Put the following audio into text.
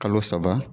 Kalo saba